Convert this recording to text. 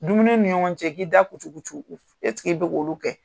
Dumuni ni ɲɔgɔn cɛ i k'i da kucucu e bi k'olu kɛ ?